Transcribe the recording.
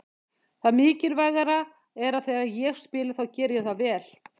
Það mikilvæga er að þegar ég spila þá geri ég það vel.